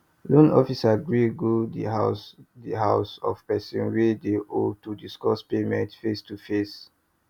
loan officer gree go di house di house of person wey dey owe to discuss payment face to face